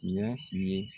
Tiɲɛ fi ye